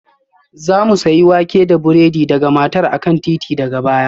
Za mu sayi wake da burodi daga matar a kan titi daga baya